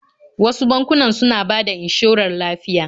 Wasu bankunan suna bada inshorar lafiya